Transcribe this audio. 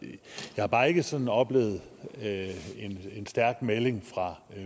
har bare ikke sådan oplevet en stærk melding fra